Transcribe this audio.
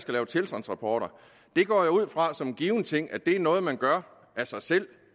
lave tilstandsrapporter det går jeg ud fra som en given ting er noget man gør af sig selv